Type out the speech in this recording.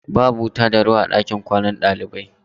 Babu wuta da ruwa a ɗakin kwanan ɗalibai maza.